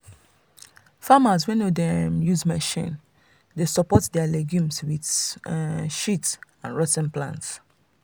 farmers wey no dey um use machine dey support their legumes with animal um shit and rot ten plant.